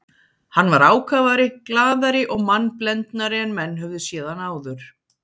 Hann var ákafari, glaðari og mannblendnari en menn höfðu séð hann áður.